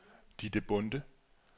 Ditte Bonde